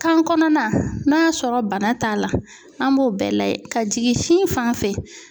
Kan kɔnɔna n'a sɔrɔ bana t'a la an b'o bɛɛ lajɛ ka jigin sin fanfɛ .